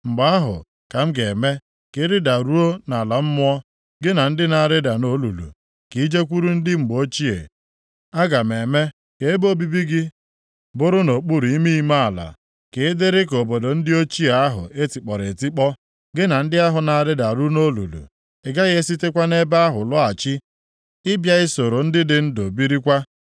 mgbe ahụ ka m ga-eme ka ị rịdaruo nʼala mmụọ, gị na ndị na-arịda nʼolulu, ka i jekwuru ndị mgbe ochie. Aga m eme ka ebe obibi gị bụrụ nʼokpuru ime ime ala, ka ị dịrị ka obodo ndị ochie ahụ e tikpọrọ etikpọ. Gị na ndị ahụ na-arịdaru nʼolulu. Ị gaghị esitekwa nʼebe ahụ lọghachi ịbịa isoro ndị dị ndụ birikwa.